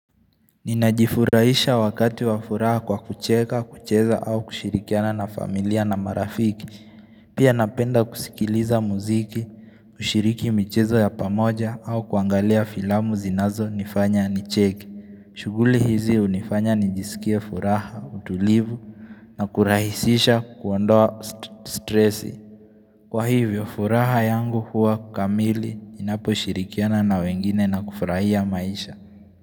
Ninajifurahisha wakati wa furaha kwa kucheka, kucheza au kushirikiana na familia na marafiki. Pia napenda kusikiliza muziki, kushiriki michezo ya pamoja au kuangalia filamu zinazonifanya nicheke. Shughuli hizi hunifanya nijisikie furaha, utulivu na kurahisisha kuondoa stressi. Kwa hivyo furaha yangu huwa kamili ninapo shirikiana na wengine na kufurahia maisha.